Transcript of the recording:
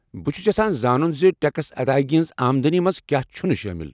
بہٕ چُھس یژھان زانُن زِ ٹیكس ادایگی ہنزِ آمدنی منٛز کیا چُھنہٕ شٲمل ۔